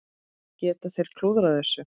Geta þeir klúðrað þessu?